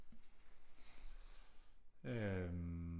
Øh